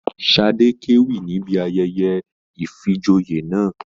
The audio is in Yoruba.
Sadé k'ewí níbí ayẹyẹ ifíjòyè náà.